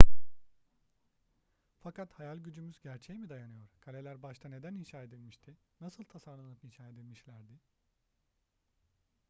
fakat hayal gücümüz gerçeğe mi dayanıyor kaleler başta neden inşa edilmişti nasıl tasarlanıp inşa edilmişlerdi